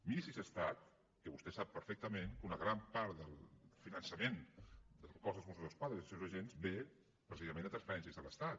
miri si és estat que vostè sap perfectament que una gran part del finançament del cos dels mossos d’esquadra i dels seus agents ve precisament de transferències de l’estat